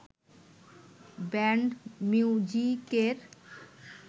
band মিউজিকের